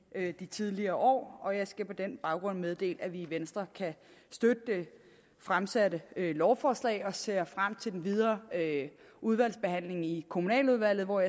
de tidligere år og jeg skal på den baggrund meddele at vi i venstre kan støtte det fremsatte lovforslag og ser frem til den videre udvalgsbehandling i kommunaludvalget og